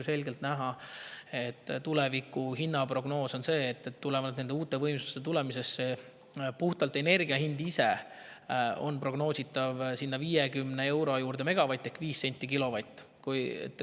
On selgelt näha, et tuleviku hinnaprognoos on see, et tulenevalt uute võimsuste tulemisest on puhtalt energia hind ise prognoositavalt umbes 50 eurot megavatt ehk 5 senti kilovatt.